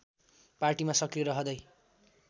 पार्टीमा सक्रिय रहँदै